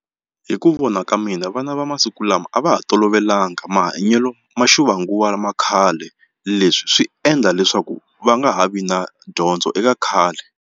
Hi ku vona ka mina vana va masiku lama a va ha tolovelanga mahanyelo ma ximanguva lama khale leswi swi endla leswaku va nga ha vi na dyondzo eka khale.